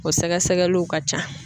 O sɛgɛsɛgɛliw ka ca.